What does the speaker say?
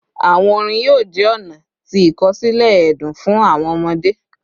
Awọn orin yoo jẹ ọna ti ikosile ẹdun fun awọn ọmọde